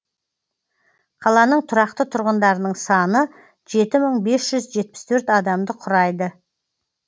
қаланың тұрақты тұрғындарының саны жеті мың бес жүз жетпіс төрт адамды құрайды